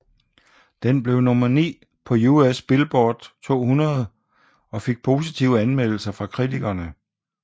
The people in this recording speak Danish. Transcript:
Det blev nummer 9 på US Billboard 200 og fik positive anmeldelser fra kritikere